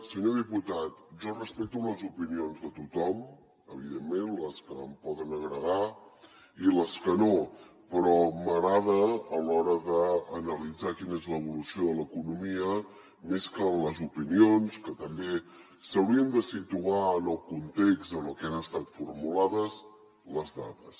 senyor diputat jo respecto les opinions de tothom evidentment les que em poden agradar i les que no però m’agrada a l’hora d’analitzar quina és l’evolució de l’economia més que les opinions que també s’haurien de situar en el context en el que han estat formulades les dades